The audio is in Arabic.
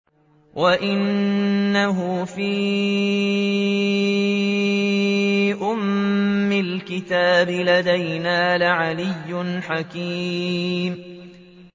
وَإِنَّهُ فِي أُمِّ الْكِتَابِ لَدَيْنَا لَعَلِيٌّ حَكِيمٌ